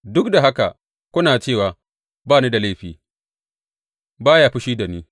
Duk da haka kuna cewa, Ba ni da laifi; ba ya fushi da ni.’